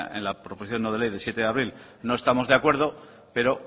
en la proposición no de ley de siete de abril no estamos de acuerdo pero